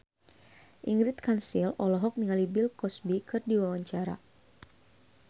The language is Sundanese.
Ingrid Kansil olohok ningali Bill Cosby keur diwawancara